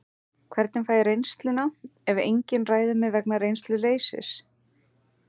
Hvernig fæ ég reynsluna ef enginn ræður mig vegna reynsluleysis?